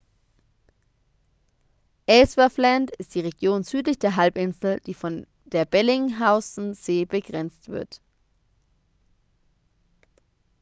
ellsworthland ist die region südlich der halbinsel die von der bellingshausen-see begrenzt wird